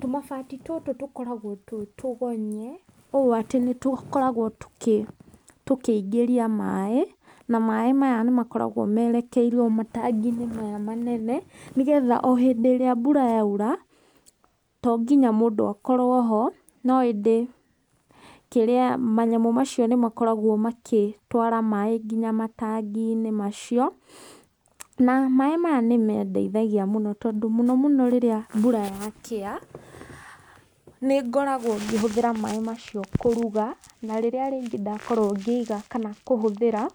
Tũmabati tũtũ tũkoragwo twĩ tũgonye ũũ atĩ nĩ tũkoragwo tũkĩingĩria maaĩ, na maaĩ maya nĩ makoragwo mereikirio matangi-inĩ maya manene, nĩ getha o hĩndĩ ĩrĩa mbura yaura to nginya mũndũ akorwo ho. No ĩndĩ [kĩrĩa], manyamũ macio nĩ makoragwo magĩtwara maaĩ nginya matangi-inĩ macio. Na maaĩ maya nĩ mandeithagia mũno tondũ mũno mũno rĩrĩa mbura yakĩa, nĩ ngoragwo ngĩhũthĩra maaĩ macio kũruga, na rĩrĩa rĩngĩ ndakorwo ngĩiga kana kũhũthĩra,